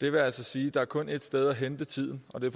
det vil altså sige at der kun er et sted at hente tiden og det